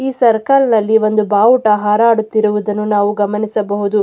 ಈ ಸರ್ಕಲ್ ನಲ್ಲಿ ಒಂದು ಬಾವುಟ ಹರಡುತ್ತಿರುವುದನ್ನು ನಾವು ಗಮನಿಸಬಹುದು.